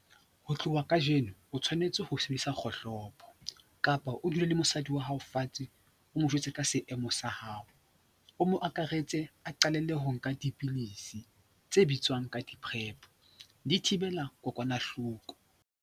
Ho tloha kajeno, o tshwanetse ho sebedisa kgohlopo kapa o dule le mosadi wa hao fatshe o mo jwetse ka seemo sa hao, o mo akaretse a qalelle ho nka dipidisi tse bitswang ka di-Prep, di thibela kokwanahloko.